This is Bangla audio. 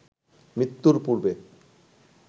মৃত্যুর পূর্বে